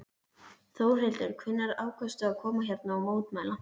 Þórhildur: Hvenær ákvaðstu að koma hérna og mótmæla?